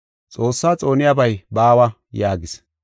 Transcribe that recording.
Xoossaa xooniyabay baawa” yaagis.